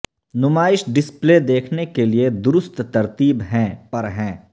نمائش ڈسپلے دیکھنے کے لئے درست ترتیب ہیں پر ہیں